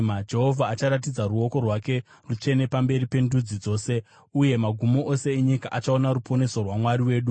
Jehovha acharatidza ruoko rwake rutsvene pamberi pendudzi dzose, uye magumo ose enyika achaona ruponeso rwaMwari wedu.